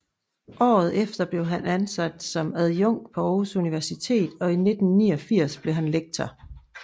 Året efter blev han ansat som adjunkt på Aarhus Universitet og i 1989 blev han lektor